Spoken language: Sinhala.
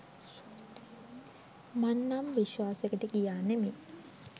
මං නම් විශ්වාසෙකට ගියා නෙමෙයි